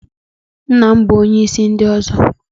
Nna m bụ onye isi ọzọ